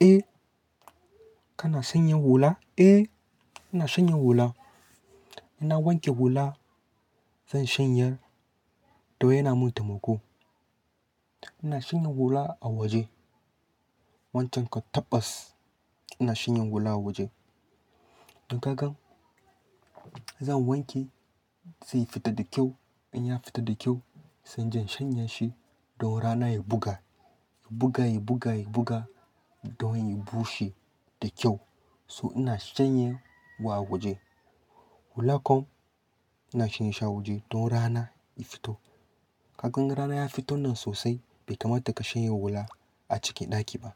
Eh, kana shanyen hula? Eh, ina shanyen hula. Ina wanke hula zan shanye don yana min temuko. Ina shanyen hula a waje. Wancan ka tabbas ina shanyen hula a waje. In ka gan, zan wanke sai ya fita da kyau. In ya fita da kyau, sai inje shanye shi don rana ya buga. Ya buga, ya buga, ya buga don ya bushe da kyau. So ina shanye wa a waje. Hula kam ina shanye shi a waje don rana ya fito. Ka gan rana ya fito nan sosai bai kamata ka shanye hula a cikin ɗaki ba.